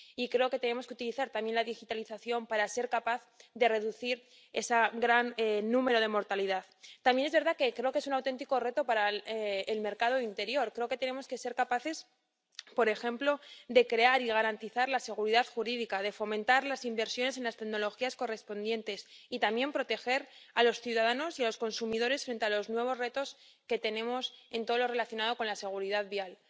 Y creo que tenemos que utilizar también la digitalización para ser capaces de reducir esa gran mortalidad. También es verdad que creo que es un auténtico reto para el mercado interior. Creo que tenemos que ser capaces, por ejemplo, de crear y garantizar la seguridad jurídica, de fomentar las inversiones en las tecnologías correspondientes y también proteger a los ciudadanos y a los consumidores frente a los nuevos retos que tenemos en todo lo relacionado con la seguridad vial.